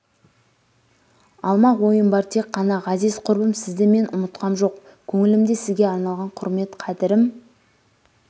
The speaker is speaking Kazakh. алмақ ойым бар тек қана ғазиз құрбым сізді мен ұмытқам жоқ көңілімде сізге арналған құрмет қадірім